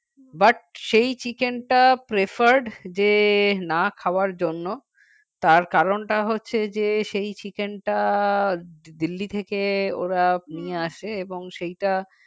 but সেই chicken টা preferred যে না খাওয়ার জন্য তার কারণটা হচ্ছে যে সেই chicken টা delhi থেকে ওরা নিয়ে আসে এবং সেইটা